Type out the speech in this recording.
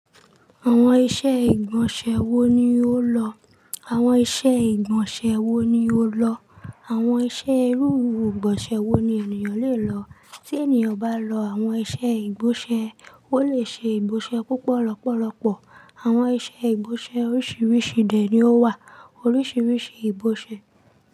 Àwọn iṣẹ́ ìgbọ̀nsẹ̀ wo ni ó lọ? Àwọn iṣẹ́ ìgbọ̀nsẹ̀ wo ni ó lọ? Àwọn iṣẹ́ irú ìgbọ̀nsẹ̀ wo ni ènìyàn le lọ? Tí ènìyàn bá lọ àwọn iṣẹ́ ìgbọ̀nsẹ̀, ó lè ṣe ìgbọ̀nsẹ̀ púpọ̀ lọ́pọ̀lọpọ̀. Àwọn iṣẹ́ ìgbọ̀nsẹ̀ oríṣiríṣi dẹ̀ ni ó wà. Oríṣiríṣi ìgbọ̀nsẹ̀